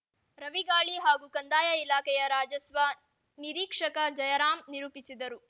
ರವಿಗಾಳಿ ಹಾಗೂ ಕಂದಾಯ ಇಲಾಖೆಯ ರಾಜಸ್ವ ನಿರೀಕ್ಷಕ ಜಯರಾಮ್ ನಿರೂಪಿಸಿದರು